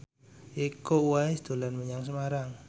Iko Uwais dolan menyang Semarang